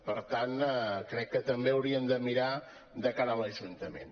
per tant crec que també haurien de mirar de cara a l’ajuntament